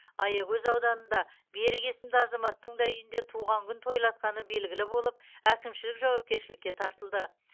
аягөз ауданында берік есімді азаматтың да үйінде туған күн тойлатқаны белгілі болып әкімшілік жауапкершіліке тартылды